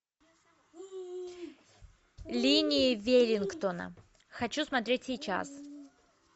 линии веллингтона хочу смотреть сейчас